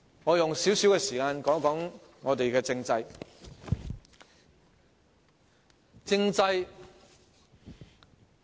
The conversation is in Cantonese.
我用少許時間談談香港的政制。